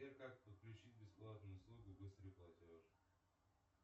сбер как подключить бесплатно услугу быстрый платеж